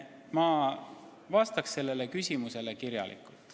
Ma vastaksin sellele küsimusele kirjalikult.